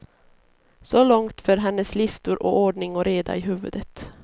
Så långt för hennes listor och ordning och reda i huvudet.